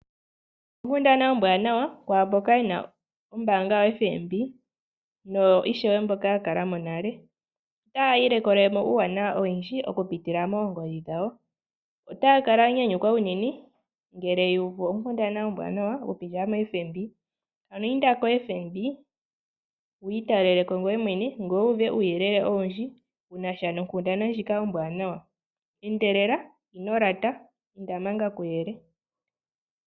Okundana ombwaanawa kwaamboka yena ombaanga yoFNB noyo ishewe mboka ya kala mo nale otayi ilikolelemo uuwanawa owundji okupitila moongodhi dhawo, otaya kala yanyanyukwa unene ngele wuuvu okundana ombwaanawa okupitila moFNB, ano inda koFNB wiitaleleko ngoye mwene ngoye wuuve uuyelele owundji wuna sha nokundana ndjika ombwaanawa, endelela! Ino lata! Inda manga kuyele.